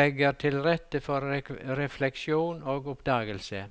legger til rette for refleksjon og oppdagelse.